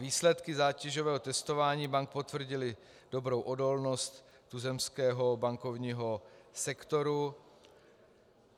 Výsledky zátěžového testování bank potvrdily dobrou odolnost tuzemského bankovního sektoru.